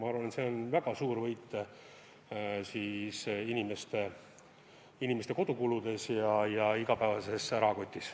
Ma arvan, et see on väga suur võit, mis annab tunda inimeste kodukuludes ja igapäevases rahakotis.